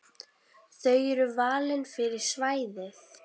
Þau eru valin fyrir svæðið.